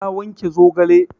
Na wanke zogale